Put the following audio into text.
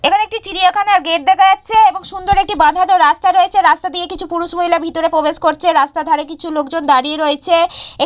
এখানে একটি চিড়িয়াখানার গেট দেখা যাচ্ছে এবং সুন্দর একটি বাধানো রাস্তা রয়েছে রাস্তা দিয়ে কিছু পুরুষ-মহিলা ভিতরে প্রবেশ করছে রাস্তার ধারে কিছু লোকজন দাঁড়িয়ে রয়েছে এক--